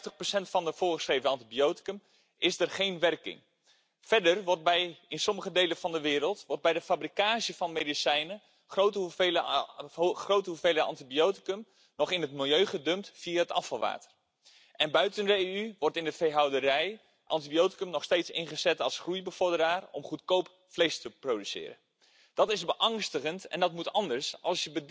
Im Jahr 2017 wurden dort in der landwirtschaftlichen Tierhaltung sechsmal mehr Antibiotika als in der Humanmedizin eingesetzt. Schon jetzt kommen in Deutschland pro Jahr Tausende Menschen durch Antibiotikaresistenzen ums Leben.